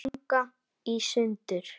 ganga í sundur